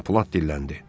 Ton Plat dilləndi.